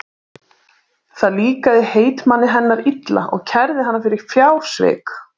Það líkaði heitmanni hennar illa og kærði hana fyrir fjársvik.